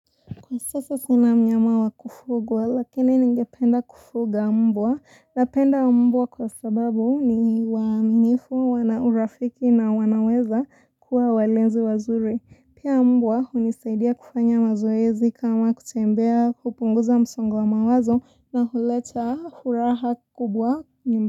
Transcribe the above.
Kwasasa sina mnyama wa kufugwa lakini ningependa kufuga mbwa. Napenda mbwa kwasababu ni waaminifu, wana urafiki na wanaweza kuwa walezi wazuri. Pia mbwa hunisaidia kufanya mazoezi kama kutembea kupunguza msongo wa mawazo na huleta huraha kubwa.